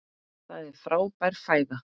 Það er frábær fæða.